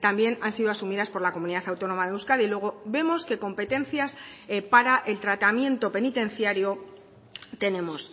también han sido asumidas por la comunidad autónoma de euskadi luego vemos que competencias para el tratamiento penitenciario tenemos